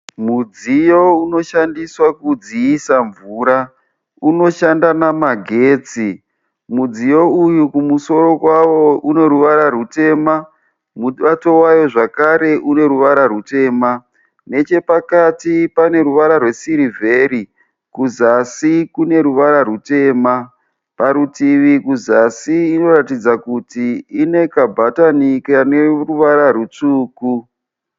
Mudziyo unoshandiswa kudziisa mvura. Unoshanda namagetsi. Mudziyo uyu kumusuro kwayo kunoruvara rutema. Mubato wayo zvakare une ruvara rutema. Nechepakati pane ruvara rwe siriveri. Kuzasi kune ruvara rutema. Parutivi kuzasi inoratidza kuti ine kabhatani kane ruvara rutsvuku.